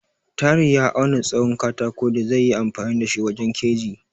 Tahir ya auna tsahon katako da zaiyi amfani da shi wajen keji.